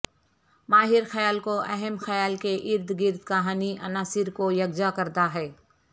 ماہر خیال کو اہم خیال کے ارد گرد کہانی عناصر کو یکجا کرتا ہے